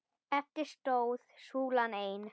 Eftir stóð súlan ein.